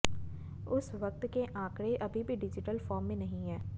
उस वक्त के आंकड़े अभी भी डिजिटल फॉर्म में नहीं हैं